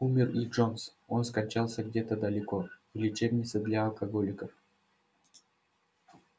умер и джонс он скончался где-то далеко в лечебнице для алкоголиков